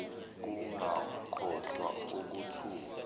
ukungakholwa ukuthuka